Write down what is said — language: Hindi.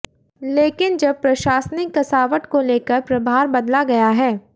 लेकिन अब प्रशासनिक कसावट को लेकर प्रभार बदला गया है